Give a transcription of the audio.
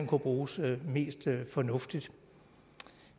kunne bruges mest fornuftigt